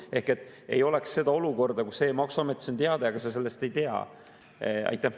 Ehk ei oleks seda olukorda, kus e‑maksuametis on teade, aga sellest ei tea.